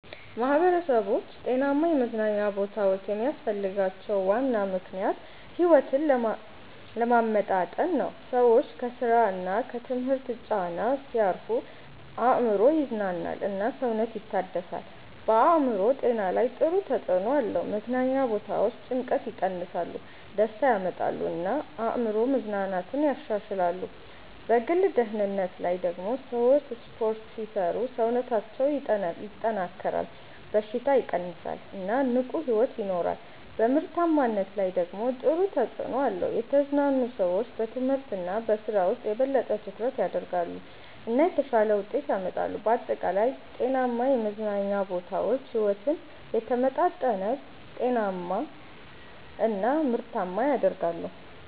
ማህበረሰቦች ጤናማ የመዝናኛ ቦታዎች የሚያስፈልጋቸው ዋና ምክንያት ሕይወትን ለማመጣጠን ነው። ሰዎች ከስራ እና ከትምህርት ጫና ሲያርፉ አእምሮ ይዝናናል እና ሰውነት ይታደሳል። በአእምሮ ጤና ላይ ጥሩ ተጽዕኖ አለው። መዝናኛ ቦታዎች ጭንቀትን ይቀንሳሉ፣ ደስታ ያመጣሉ እና የአእምሮ መዝናናትን ያሻሽላሉ። በግል ደህንነት ላይ ደግሞ ሰዎች ስፖርት ሲሰሩ ሰውነታቸው ይጠናከራል፣ በሽታ ይቀንሳል እና ንቁ ሕይወት ይኖራሉ። በምርታማነት ላይ ደግሞ ጥሩ ተጽዕኖ አለው። የተዝናኑ ሰዎች በትምህርት እና በስራ ውስጥ የበለጠ ትኩረት ያደርጋሉ እና የተሻለ ውጤት ያመጣሉ። በአጠቃላይ ጤናማ የመዝናኛ ቦታዎች ሕይወትን የተመጣጠነ፣ ጤናማ እና ምርታማ ያደርጋሉ።